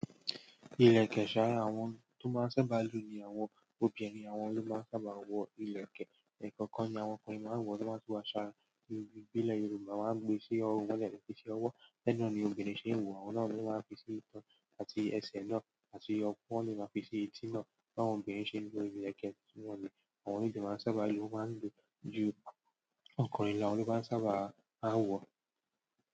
Ilẹkẹ saa, àwọn to maa n sábà lo ni àwọn obìnrin. Àwọn ló máa sábà wọ ilẹ̀kẹ̀. Ẹ̀kọ́kan ni àwọn ọkùnrin máa ń wọ̀, tí wọ́n sì máa ń ṣàrà. Nínú ìbí ilẹ̀ Yorùbá máa ń gbé sí ọrùn wọ́n lẹ́kìtí ọwọ́, tẹ́ nìrán ni obìnrin ṣe ń wọ, àwọn náà ló máa ń fi sí ìtàn àti ẹsẹ̀ náà, àti ọpọ́n ló máa ń fi sí etí náà. Ba àwọn obìnrin se lo ileke àwọn náà lo maa n sábà lo won maa n lo ju ọkùnrin lo àwọn lo maa n sábà maa n wò.